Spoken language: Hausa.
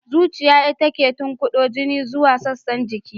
Zuciya ita ce take tunkudo jini zuwa sassan jiki.